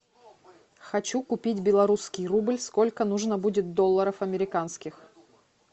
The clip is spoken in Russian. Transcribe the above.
хочу купить белорусский рубль сколько нужно будет долларов американских